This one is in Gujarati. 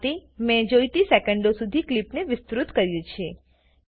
આ રીતે મેં જોઈતી સેકેન્ડો સુધી ક્લીપને વિસ્તૃત કર્યું છે